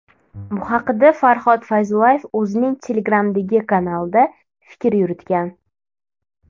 Bu haqda Farhod Fayzullayev o‘zining Telegram’dagi kanalida fikr yuritgan .